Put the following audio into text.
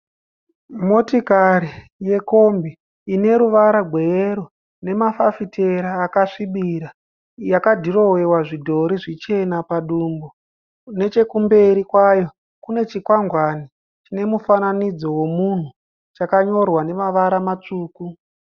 Motikari yekombi ineruvara rweyero nemafafitera akasvibira. Yakadhirowewa zvidhori zvichena padumbu . Nechekumberi kwayo kune chikwangwane chinemufanidzo wemunhu chakanyorwa namavara matsvuku.